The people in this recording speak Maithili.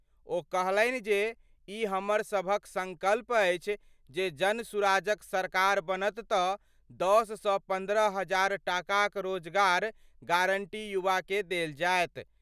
ओ कहलनि जे, ई हमर सबहक संकल्प अछि जे जनसुराज क सरकार बनत त 10 सँ 15 हजार टाका क रोजगार गारंटी युवा कए देल जाएत।